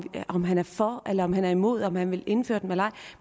om han er for eller om han er imod om han vil indføre dem eller ej